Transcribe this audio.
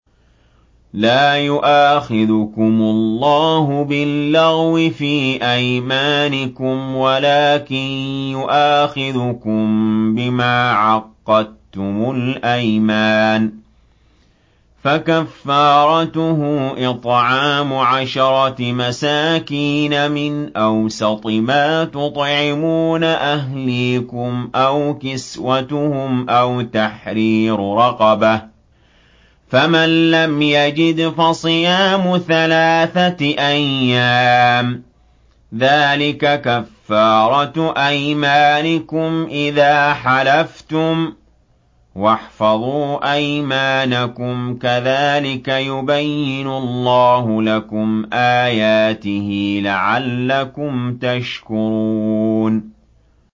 لَا يُؤَاخِذُكُمُ اللَّهُ بِاللَّغْوِ فِي أَيْمَانِكُمْ وَلَٰكِن يُؤَاخِذُكُم بِمَا عَقَّدتُّمُ الْأَيْمَانَ ۖ فَكَفَّارَتُهُ إِطْعَامُ عَشَرَةِ مَسَاكِينَ مِنْ أَوْسَطِ مَا تُطْعِمُونَ أَهْلِيكُمْ أَوْ كِسْوَتُهُمْ أَوْ تَحْرِيرُ رَقَبَةٍ ۖ فَمَن لَّمْ يَجِدْ فَصِيَامُ ثَلَاثَةِ أَيَّامٍ ۚ ذَٰلِكَ كَفَّارَةُ أَيْمَانِكُمْ إِذَا حَلَفْتُمْ ۚ وَاحْفَظُوا أَيْمَانَكُمْ ۚ كَذَٰلِكَ يُبَيِّنُ اللَّهُ لَكُمْ آيَاتِهِ لَعَلَّكُمْ تَشْكُرُونَ